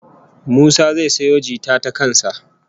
Musa zai sayo jita ta kan sa